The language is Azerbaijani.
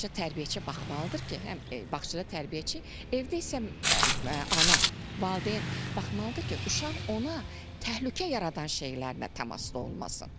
Ancaq tərbiyəçi baxmalıdır ki, həm bağçada tərbiyəçi, evdə isə ana, valideyn baxmalıdır ki, uşaq ona təhlükə yaradan şeylərlə təmasda olmasın.